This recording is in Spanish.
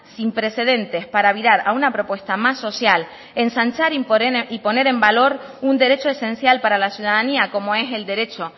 sin precedentes para virar a una propuesta más social ensanchar y poner en valor un derecho esencial para la ciudadanía como es el derecho